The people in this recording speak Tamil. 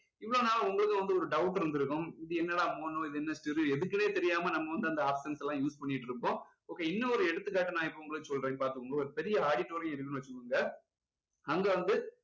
இவ்ளோ நாள் உங்களுக்கும் வந்து doubt இருந்திருக்கும் இது என்னாடா mono இது என்ன stereo எதுக்குன்னே தெரியாம நம்ம வந்து அந்த options லாம் use பண்ணிக்கிட்டு இருப்போம் okay இன்னும் ஒரு எடுத்துகாட்டு நான் இப்போ உங்களுக்கு சொல்றேன் பாத்துக்கோங்க ஒரு பெரிய auditorium இருக்குன்னு வச்சுக்கோங்க அங்க வந்து